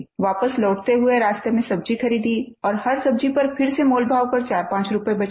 वापस लौटते हुए रास्ते में सब्जी खरीदी और हर सब्जी पर फिर से मोलभाव करके 45 रूपये बचाये